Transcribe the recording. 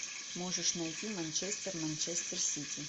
можешь найти манчестер манчестер сити